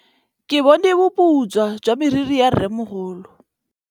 Ke bone boputswa jwa meriri ya rrêmogolo.